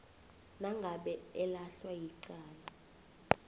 uma elahlwa yicala